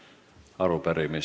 Aitäh teile tänase tööpäeva eest!